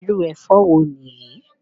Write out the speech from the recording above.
Irú ẹ̀fọ́ wo niyi?